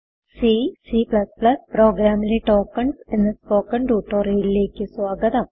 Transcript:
C c plus plus പ്രോഗ്രാമിലെ tokens എന്ന spoken ട്യൂട്ടോറിയലിലേക്ക് സ്വാഗതം